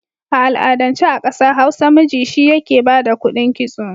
A al'adance a ƙasa Hausa miji shi yake ba da kuɗin kitso.